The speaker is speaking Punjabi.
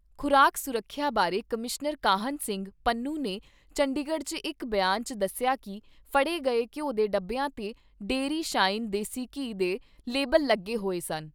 ਖ਼ੁਰਾਕ ਸੁਰੱਖਿਆ ਬਾਰੇ ਕਮਿਸ਼ਨਰ ਕਾਹਨ ਸਿੰਘ ਪੰਨੂ ਨੇ ਚੰਡੀਗੜ੍ਹ 'ਚ ਇਕ ਬਿਆਨ 'ਚ ਦੱਸਿਆ ਕਿ ਫੜੇ ਗਏ ਘਿਉ ਦੇ ਡੱਬਿਆਂ ਤੇ ਡੇਅਰੀ ਸਾਈਨ ਦੇਸੀ ਘੀ ਦੇ ਲੇਬਲ ਲੱਗੇ ਹੋਏ ਸਨ।